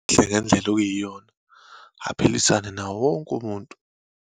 Ngendlela okuyiyona, aphilisane nawo wonke umuntu.